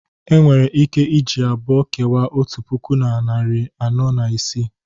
Enwere ike iji abụọ kewaa otu puku na narị anọ na isii